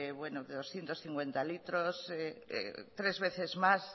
de doscientos cincuenta litros tres veces más